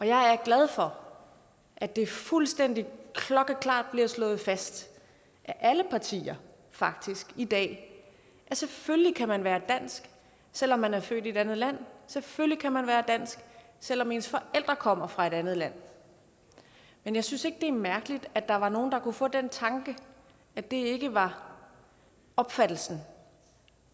jeg er glad for at det fuldstændig klokkeklart bliver slået fast af alle partier faktisk i dag at selvfølgelig kan man være dansk selv om man er født i et andet land selvfølgelig kan man være dansk selv om ens forældre kommer fra et andet land men jeg synes ikke det er mærkeligt at der var nogle der kunne få den tanke at det ikke var opfattelsen